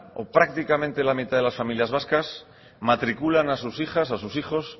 o prácticamente la mitad de las familias vasca matriculan a sus hijas a sus hijos